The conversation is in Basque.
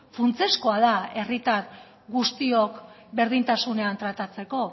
funtsezkoa da herritar guztiok berdintasunean tratatzeko